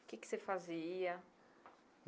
O que que você fazia?